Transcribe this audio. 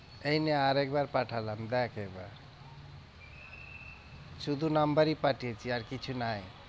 এইনে আর একবার পাঠালাম দেখ এবার শুধু number ই পাঠিয়েছি আর কিছু নাই।